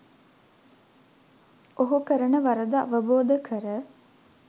ඔහු කරන වරද අවබෝධ කර